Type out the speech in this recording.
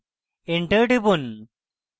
enter টিপুন